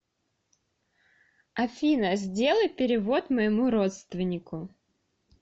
афина сделай перевод моему родственнику